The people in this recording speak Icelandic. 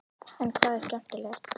En hvað er skemmtilegast?